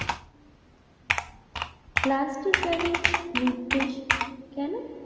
plastic ব্যাগের নির্দেশ কেন